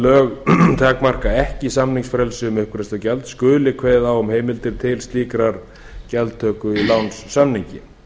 lög takmarka ekki samningsfrelsi um uppgreiðslugjald skuli kveðið á um heimild til slíkrar gjaldtöku í lánssamningi